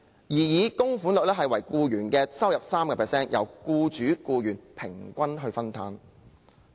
擬議供款率為僱員收入的 3%， 由僱主和僱員平均分擔。